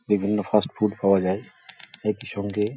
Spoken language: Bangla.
বিভিন্ন ফাস্ট ফুড পাওয়া যায় একি সঙ্গে --